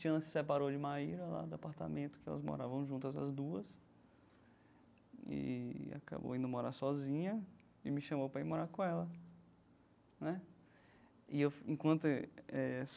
Tiana se separou de Maira lá do apartamento, que elas moravam juntas as duas, e acabou indo morar sozinha e me chamou para ir morar com ela né e eu enquanto eh.